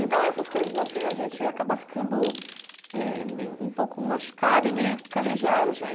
Então, essas coisas assim, a gente acaba ficando eh meio um pouco machucada e meio calejada já.